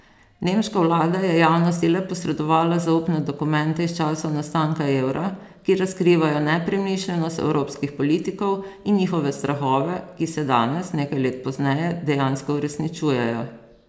Nemška vlada je javnosti le posredovala zaupne dokumente iz časov nastanka evra, ki razkrivajo nepremišljenost evropskih politikov in njihove strahove, ki se danes, nekaj let pozneje, dejansko uresničujejo.